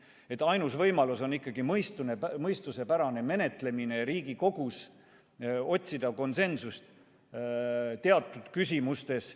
Nii et ainus võimalus on ikkagi mõistusepärane menetlemine ja Riigikogus konsensuse otsimine teatud küsimustes.